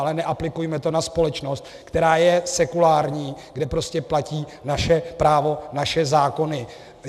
Ale neaplikujme to na společnost, která je sekulární, kde prostě platí naše právo, naše zákony.